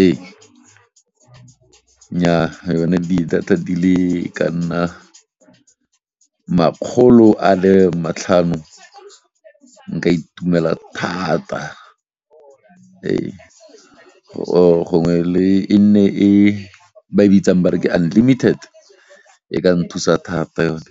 Ee, nnyaa yone di data di le ka nna makgolo a le matlhano nka itumela thata go gongwe e nne e ba e bitsang ba re ke unlimited e ka nthusa thata yone.